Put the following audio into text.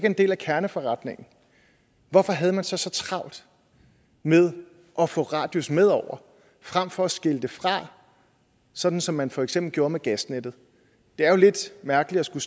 en del af kerneforretningen hvorfor havde man så så travlt med at få radius med over frem for at skille det fra som som man for eksempel gjorde med gasnettet det er jo lidt mærkeligt at skulle